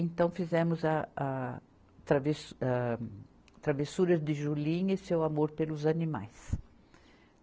Então, fizemos a, a travessu, a travessuras de Julinha e seu amor pelos animais.